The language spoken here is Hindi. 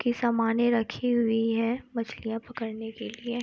कि समाने रखी हुई है मछलियां पकड़ने के लिए।